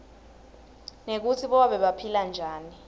nekutsi bobabe baphila njani